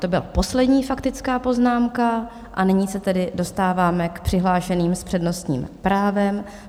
To byla poslední faktická poznámka a nyní se tedy dostáváme k přihlášeným s přednostním právem.